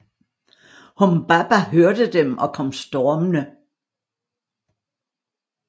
Humbaba hørte dem og kom stormende